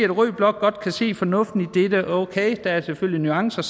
at rød blok godt kan se fornuften i dette okay der er selvfølgelig nuancer